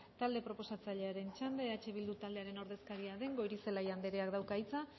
talde proposatzailearen txanda eh bildu taldearen ordezkaria den goirizelaia andrea dauka hitza